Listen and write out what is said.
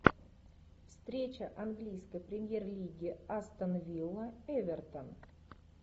встреча английской премьер лиги астон вилла эвертон